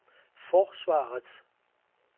forsvaret